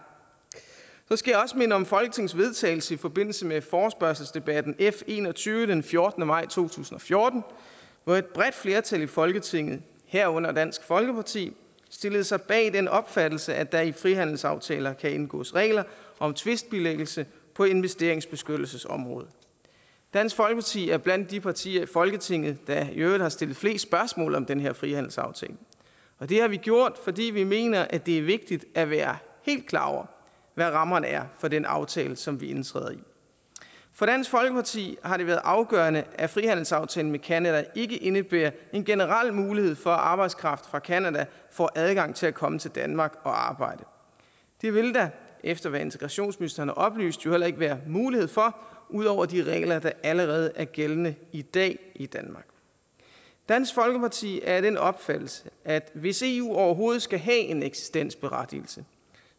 jeg skal også minde om folketingets vedtagelse i forbindelse med forespørgselsdebatten f en og tyve den fjortende maj to tusind og fjorten hvor et bredt flertal i folketinget herunder dansk folkeparti stillede sig bag den opfattelse at der i frihandelsaftaler kan indgås regler om tvistbilæggelse på investeringsbeskyttelsesområdet dansk folkeparti er blandt de partier i folketinget der i øvrigt har stillet flest spørgsmål om den her frihandelsaftale det har vi gjort fordi vi mener at det er vigtigt at være helt klar over hvad rammerne er for den aftale som vi indtræder i for dansk folkeparti har det været afgørende at frihandelsaftalen med canada ikke indebærer en generel mulighed for at arbejdskraft fra canada får adgang til at komme til danmark og arbejde det vil der efter hvad integrationsministeren har oplyst jo heller ikke være mulighed for ud over de regler der allerede er gældende i dag i danmark dansk folkeparti er af den opfattelse at hvis eu overhovedet skal have en eksistensberettigelse